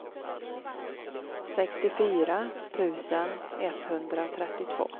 sextiofyra tusen etthundratrettiotvå